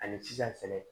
Ani sisan fɛnɛ